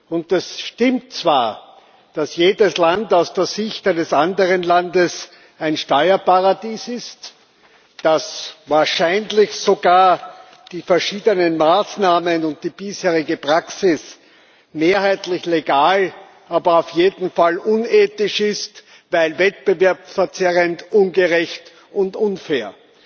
Und es stimmt zwar, dass jedes Land aus der Sicht eines anderen Landes ein Steuerparadies ist, dass wahrscheinlich sogar die verschiedenen Maßnahmen und die bisherige Praxis mehrheitlich legal, aber auf jeden Fall unethisch sind, weil wettbewerbsverzerrend, ungerecht und unfair.